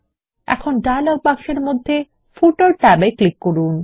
এখন ডায়লগ বাক্সের মধ্যে ফুটার ট্যাবে ক্লিক করুন